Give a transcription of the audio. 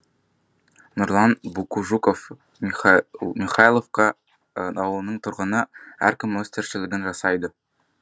нұрлан букужуков михайловка ауылының тұрғыны әркім өз тіршілігін жасайды